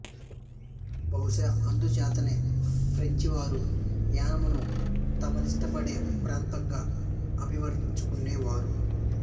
బహుశా అందుచేతనే ఫ్రెంచి వారు యానాంను తమనిష్టపడే ప్రాంతంగా అభివర్ణించుకొనేవారు